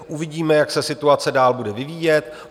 Uvidíme, jak se situace bude dál vyvíjet.